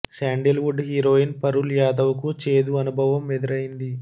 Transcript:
sandal would heroine Parul Yadav కు చేదు అనుభవం ఎదురైంది